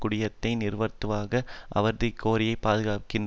குடியேற்றத்தை நிறுத்துவதற்கான அவரது இக்கோரிக்கையை பாதுகாக்கின்றனர்